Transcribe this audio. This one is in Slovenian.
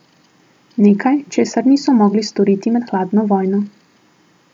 Nekaj, česar niso mogli storiti med hladno vojno.